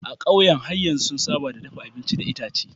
A ƙauyen har yanzu sun saba da dafa abinci da itace.